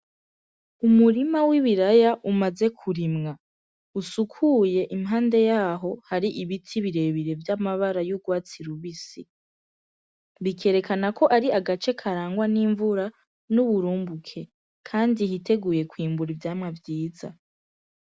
Umurima w'ibiraya umaze kurimwa usukuye. Impande yaho hari ibiti birebire vy'amabara y'urwatsi rubisi. Bikerekana ko ari agace karangwa n'imvura n'uburumbuke, kandi hiteguye kwimbura ivyamwa vyiza